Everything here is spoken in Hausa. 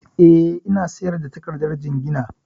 Eh, ina sayar da takardar jingina